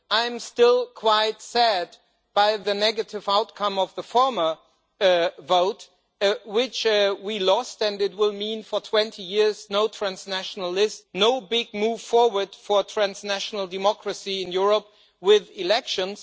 I am still quite sad at the negative outcome of the former vote which we lost, and it will mean for 20 years no transnational list, no big move forward for transnational democracy in Europe with elections.